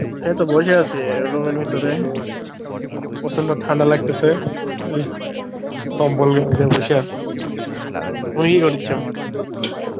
এই তো বসে আছি room এর ভিতরে, প্রচন্ড ঠান্ডা লাগতেসে, কম্বল গায়ে দিয়ে বসে আছি তুমি কি করিচ্ছ?